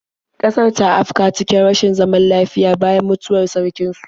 Ƙasar ta afka cikin rashin zaman lafiya bayan mutuwar sarkin su.